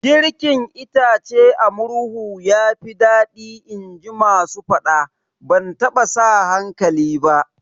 Girkin itace a murhu yafi daɗi inji masu faɗa, ban taɓa sa hankali ba